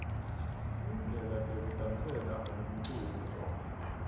tindlela tekudasela lomculo